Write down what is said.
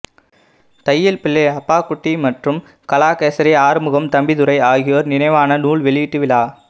தையல் பிள்ளை அப்பாக்குட்டி மற்றும் கலாகேசரி ஆறுமுகம் தம்பித்துரை ஆகியோர் நினைவான நூல் வெளியீட்டு விழா